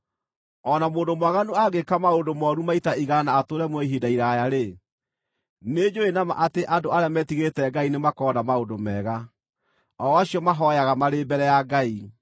O na mũndũ mwaganu angĩĩka maũndũ mooru maita igana na atũũre muoyo ihinda iraaya-rĩ, nĩnjũũĩ na ma atĩ andũ arĩa metigĩrĩte Ngai nĩmakona maũndũ mega, o acio mahooyaga marĩ mbere ya Ngai.